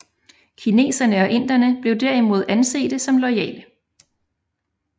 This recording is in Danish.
Kineserne og inderne blev derimod ansete som loyale